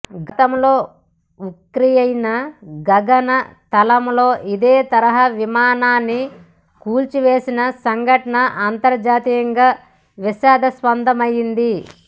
గతంలో ఉక్రెయిన్ గగనతలంలో ఇదేతరహా విమానాన్ని కూల్చివేసిన సంఘటన అంతర్జాతీయంగా వివాదాస్పదమైంది